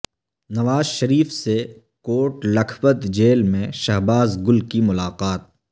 نواز شریف سے کوٹ لکھپت جیل میں شہباز گل کی ملاقات